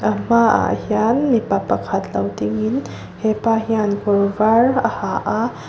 hmaah hian mipa pakhat lo dingin hepa hian kawr var a ha a.